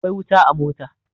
Akwai wuta a mota.